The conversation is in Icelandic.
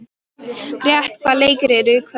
Grét, hvaða leikir eru í kvöld?